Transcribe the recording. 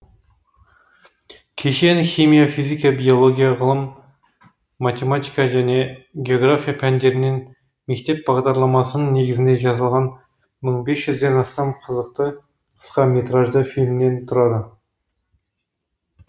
кешен химия физика биология ғылым математика және география пәндерінен мектеп бағдарламасының негізінде жасалған мың бес жүзден астам қызықты қысқа метражды фильмнен тұрады